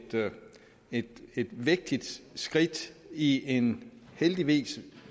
vigtigt skridt i en heldigvis